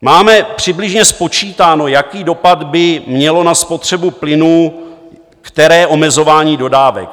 Máme přibližně spočítáno, jaký dopad by mělo na spotřebu plynu které omezování dodávek.